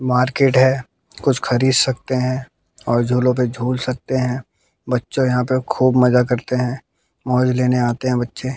market है कुछ खरीद सकते हैं और झूलों पे झूल सकते हैं बच्चों यहां पे खूब मजा करते हैं मौज लेने आते हैं बच्चे--